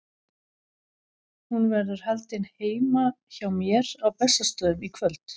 Hún verður haldin heima hjá mér á Bessastöðum í kvöld.